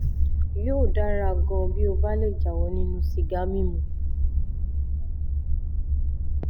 yóò dára gan-an bí ó bá lè jáwọ́ nínú sìgá mímu